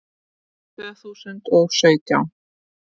Tvö þúsund og sautján